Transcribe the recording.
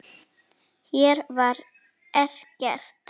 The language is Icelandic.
Hér var ekkert.